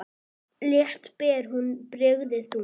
Létt ber hún byrðina þungu.